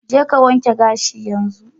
Je ka wanke gashin yanzu!